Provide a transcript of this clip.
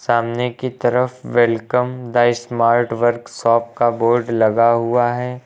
सामने की तरफ वेलकम द स्मार्ट वर्कशॉप का बोर्ड लगा हुआ है।